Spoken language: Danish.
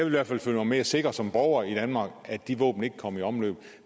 i hvert fald føle mig mere sikker som borger i danmark at de våben ikke kom i omløb